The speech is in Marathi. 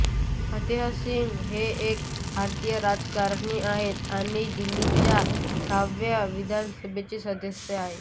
फतेह सिंग हे एक भारतीय राजकारणी आहेत आणि दिल्लीच्या सहाव्या विधानसभेचे सदस्य आहेत